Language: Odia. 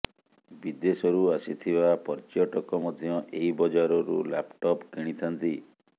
ବିଦେଶରୁ ଆସିଥିବା ପର୍ୟ୍ୟଟକ ମଧ୍ୟ ଏହି ବଜାରରୁ ଲ୍ୟାପଟପ୍ କିଣିଥାନ୍ତି